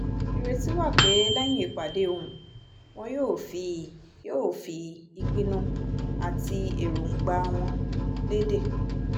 ìrètí wà pé lẹ́yìn ìpàdé ohùn wọn yóò fi yóò fi ìpinnu àti èròǹgbà wọn lédè